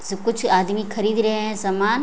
सब कुछ आदमी खरीद रहे हैं सामान।